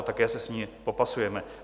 A také se s ní popasujeme.